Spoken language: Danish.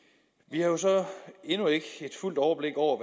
vi har jo så endnu ikke et fuldt overblik over